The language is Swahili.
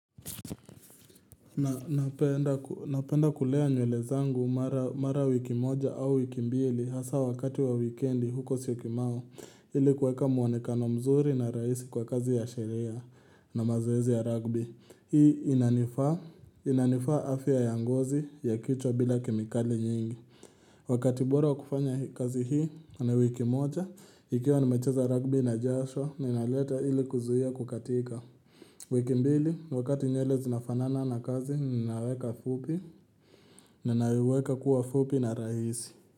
Na napenda kulea nywele zangu mara wiki moja au wiki mbili hasa wakati wa wikendi huko siyokimau ili kuweka muonekano mzuri na rahisi kwa kazi ya sheria na mazoezi ya rugby Hii inanifaa afya ya ngozi ya kichwa bila kemikali nyingi Wakati bora wa kufanya kazi hii ni wiki moja ikiwa nimecheza rugby najasho ninaleta ili kuzuia kukatika. Wiki mbili, wakati nywele zinafanana na kazi, ninaweka fupi Ninaiweka kuwa fupi na rahisi.